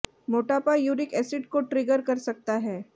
मोटापा uric acid को trigger कर सकता है